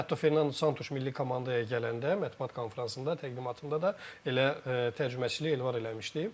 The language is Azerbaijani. Hətta Fernando Santuş Milli komandaya gələndə mətbuat konfransında, təqdimatında da elə tərcüməçiliyi Elvar eləmişdi.